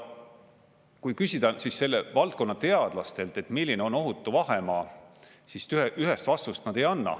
Kui küsida selle valdkonna teadlastelt, milline on ohutu vahemaa, siis ühest vastust nad ei anna.